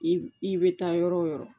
I i bɛ taa yɔrɔ o yɔrɔ